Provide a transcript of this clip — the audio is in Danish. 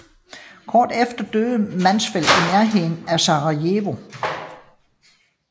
Kort efter døde Mansfeld i nærheden af Sarajevo